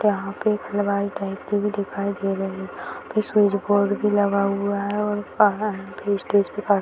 यहाँ पे टाइप की भी दिखाई दे रही है फिर स्विच बोर्ड भी लगा हुआ है और स्टेज के --